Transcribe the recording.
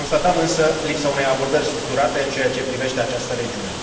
Constatăm, însă, lipsa unei abordări structurate în ceea ce privește această regiune.